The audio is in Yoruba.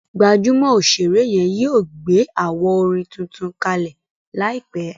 gbajúmò òṣèré yen yíò gbé awo orin títún kalẹ láìpé.